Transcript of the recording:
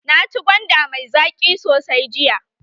Naci gwanda mai zaƙi sosai jiya.